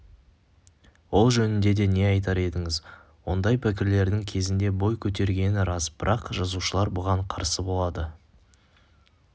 ол жөнінде не айтар едіңіз ондай пікірлердің кезінде бой көтергені рас бірақ жазушылар бұған қарсы болды